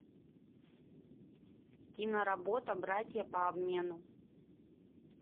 киноработа братья по обмену